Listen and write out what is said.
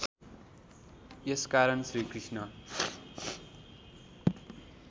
यस कारण श्रीकृष्ण